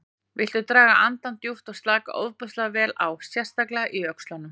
Viltu draga andann djúpt og slaka ofboðslega vel á, sérstaklega í öxlunum.